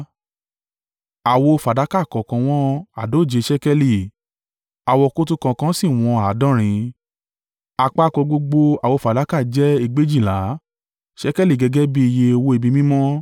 Àwo fàdákà kọ̀ọ̀kan wọn àádóje ṣékélì, àwokòtò kọ̀ọ̀kan sì wọn àádọ́rin. Àpapọ̀ gbogbo àwo fàdákà jẹ́ egbèjìlá (2,400) ṣékélì gẹ́gẹ́ bí iye owó ibi mímọ́.